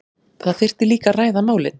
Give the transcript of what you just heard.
Það þyrfti líka að ræða málin